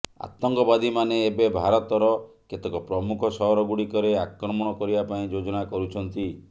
ଆତଙ୍କବାଦୀମାନେ ଏବେ ଭାରତର କେତେକ ପ୍ରମୁଖ ସହରଗୁଡ଼ିକରେ ଆକ୍ରମଣ କରିବାପାଇଁ ଯୋଜନା କରୁଛନ୍ତି